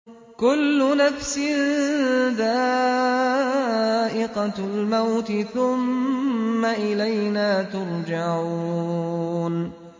كُلُّ نَفْسٍ ذَائِقَةُ الْمَوْتِ ۖ ثُمَّ إِلَيْنَا تُرْجَعُونَ